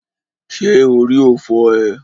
Ṣé orí ò fọ́ ee?